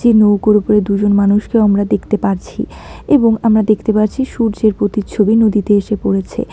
নৌকোর উপরে দুজন মানুষকেও আমরা দেখতে পারছি এবং আমরা দেখতে পাচ্ছি সূর্যের প্রতিচ্ছবি নদীতে এসে পড়েছে।